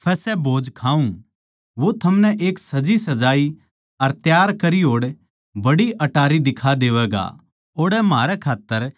वो थमनै एक सजीसजाई अर त्यार करी होड़ बड़ी अटारी दिखा देवैगा ओड़ै म्हारै खात्तर त्यारी करो